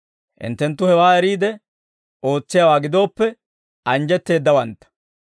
Hinttenttu hewaa eriide ootsiyaawaa gidooppe anjjetteeddawantta.